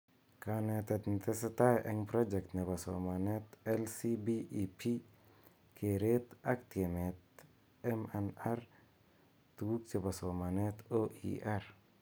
Kanetet netesetai eng project nebo somanet LCBEP, keret ak tiemet M&R , tuguk chebo somanet OER